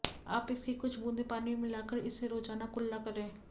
आप इसकी कुछ बूंदे पानी में मिलाकर इससे रोजाना कुल्ला करें